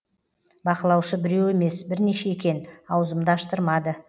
бақылаушы біреу емес бірнеше екен аузымды аштырмады